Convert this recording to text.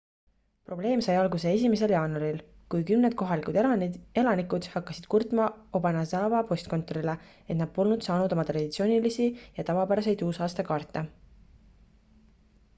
probleem sai alguse 1 jaanuaril kui kümned kohalikud elanikud hakkasid kurtma obanazawa postkontorile et nad polnud saanud oma traditsioonilisi ja tavapäraseid uusaastakaarte